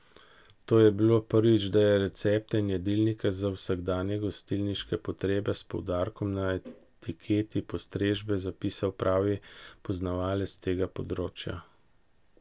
To je bilo prvič, da je recepte in jedilnike za vsakdanje gostilniške potrebe s poudarkom na etiketi postrežbe zapisal pravi poznavalec tega področja.